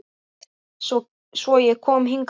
Svo ég kom hingað ein.